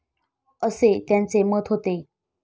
असे त्यांचे मत होते.